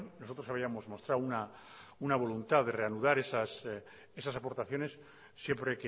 nosotros habíamos mostrado una voluntad de reanudar esas aportaciones siempre